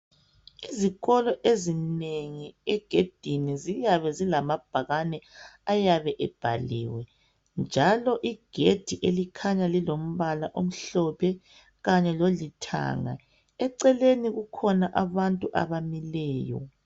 Izikolo ezinengi egedini ziyabe zilamabhakane ayabe ebhaliwe njalo igedi elikhanya lilombala omhlophe kanye lolithanga, eceleni kukhona abantu abamileyo